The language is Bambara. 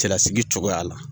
Cɛlasigi cogoya la.